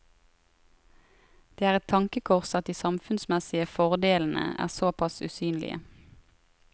Det er et tankekors at de samfunnsmessige fordelene er såpass usynlige.